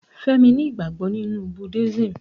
Fẹ́mi ni ìgbàgbọ́ nínú buddasim